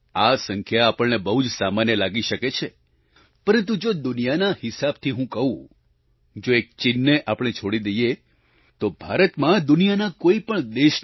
આ સંખ્યા આપણને બહુ જ સામાન્ય લાગી શકે છે પરંતુ જો દુનિયાના હિસાબથી હું કહું જો એક ચીનને આપણે છોડી દઈએ તો ભારતમાં દુનિયાના કોઈપણ દેશની